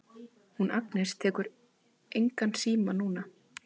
Hún Agnes tekur engan síma núna.